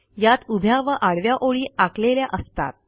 यात उभ्या व आडव्या ओळी आखलेल्या असतात